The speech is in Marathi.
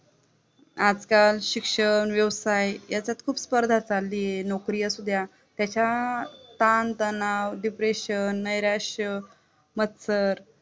आज-काल शिक्षण व्यवसाय याच्यात खूप स्पर्धा चालली आहे, नोकरी असू द्या त्याच्या ताण-तणाव, depression, निराश्य, मत्सर